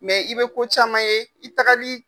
Mɛ i bɛ ko caman ye i tagali